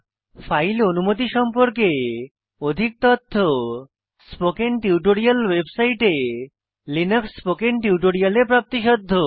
file অনুমতি সম্পর্কে অধিক তথ্য স্পোকেন টিউটোরিয়াল ওয়েবসাইটে লিনাক্স স্পোকেন টিউটোরিয়ালে প্রাপ্তিসাধ্য